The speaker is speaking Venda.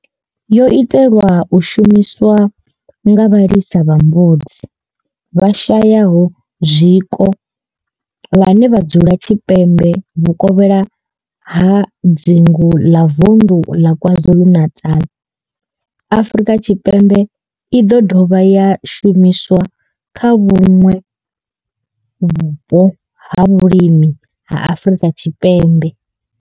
yo itelwa u shumiswa nga vhalisa vha mbudzi vhashayaho zwiko vhane vha dzula tshipembe vhukovhela ha dzingu la Vundu la KwaZulu-Natal, Afrika Tshipembe i do dovha ya shumiswa kha vhuṋwe vhupo ha vhulimi ha Afrika Tshipembe.